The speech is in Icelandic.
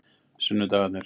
sunnudagarnir